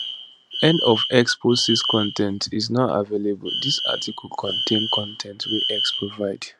end of x post 6 con ten t is not available dis article contain con ten t wey x provide